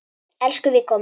Elsku Viggó minn.